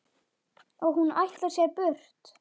Og hún ætlar sér burt.